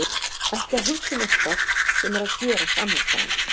Ekki að hugsa um eitthvað sem er að gerast annars staðar.